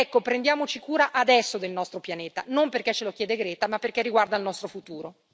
Ecco, prendiamoci cura adesso del nostro pianeta, non perché ce lo chiede Greta, ma perché riguarda il nostro futuro.